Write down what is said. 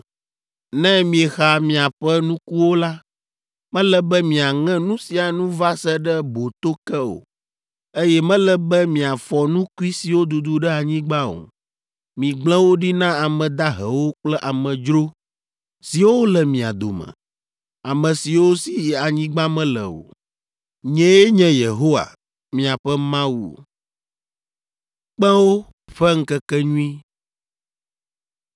“ ‘Ne miexa miaƒe nukuwo la, mele be miaŋe nu sia nu va se ɖe boto ke o, eye mele be miafɔ nukui siwo dudu ɖe anyigba o. Migblẽ wo ɖi na ame dahewo kple amedzro siwo le mia dome, ame siwo si anyigba mele o. Nyee nye Yehowa, miaƒe Mawu.’ ”